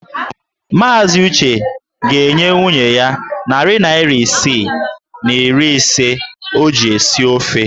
Maazị Uche ga-enye nwunye ya narị naira isii na iri ise o ji esi ofe.